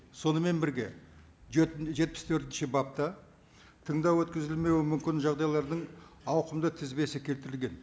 сонымен бірге жетпіс төртінші бапта тыңдау өткізілмеуі мүмкін жағдайлардың ауқымды тізбесі келтірілген